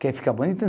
Quer ficar bonito?